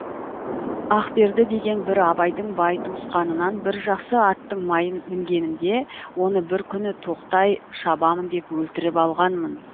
ақберді деген бір абайдың бай туысқанынан бір жақсы аттың майын мінгенімде оны бір күні тоқтай шабамын деп өлтіріп алғанмын